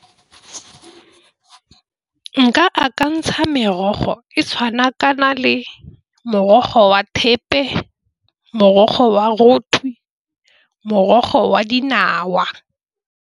Nka akantsha merogo e tshwana kana le morogo wa thepe, morogo wa roto, morogo wa dinawa.